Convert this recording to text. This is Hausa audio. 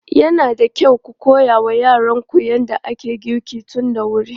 Yana da kyau ku koya wa yaranku yadda ake girki tun da wuri.